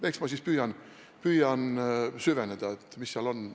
Eks ma siis püüan süveneda, mis seal on.